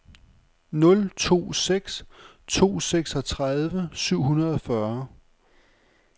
nul to seks to seksogtredive syv hundrede og fyrre